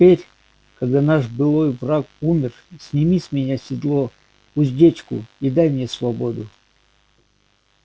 теперь когда наш былой враг умер сними с меня седло уздечку и дай мне свободу